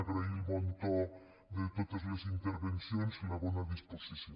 agrair el bon to de totes les intervencions i la bona disposició